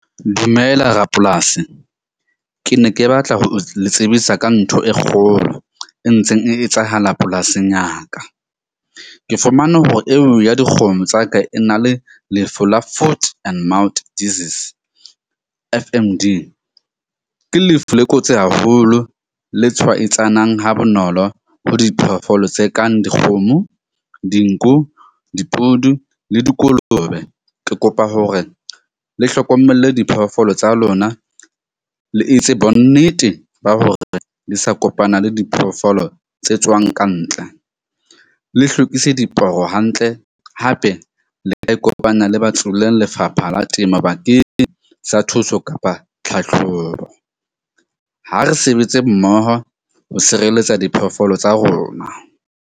Dumela rapolasi. Ke ne ke batla ho le tsebisa ka ntho e kgolo e ntseng e etsahala polasing ya ka. Ke fumane hore eo ya dikgomo tsa ka e na le lefu la foot-and-mouth disease. F_M_D ke lefu le kotsi haholo le tshwaetsanang ha bonolo ho diphoofolo tse kang dikgomo, dinku, dipudu le dikolobe. Ke kopa hore le hlokomelle diphoofolo tsa lona, le etse bonnete ba hore di sa kopana le diphoofolo tse tswang ka ntle, le hlwekise diporo hantle. Hape le ka ikopanya le Lefapha la Temo bakeng sa thuso kapa tlhatlhobo. Ha re sebetse mmoho ho sireletsa diphoofolo tsa rona.